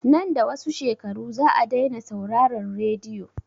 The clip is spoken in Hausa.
Nan da wasu shekaru za a dai na sauraran radiyo